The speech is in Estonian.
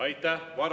Aitäh!